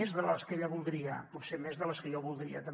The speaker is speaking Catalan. més de les que ell voldria potser més de les que jo voldria també